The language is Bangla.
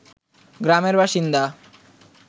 গ্রামের বাসিন্দা